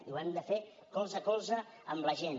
i ho hem de fer colze a colze amb la gent